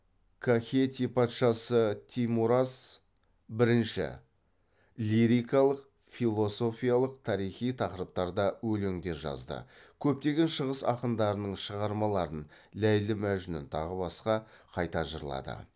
кахети патшасы теймураз бірінші лирикалық философиялық тарихи тақырыптарда өлеңдер жазды көптеген шығыс ақындарының шығармаларын қайта жырлады